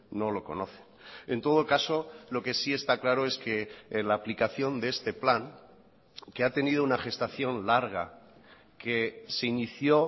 no lo conoce en todo caso lo que sí está claro es que la aplicación de este plan que ha tenido una gestación larga que se inició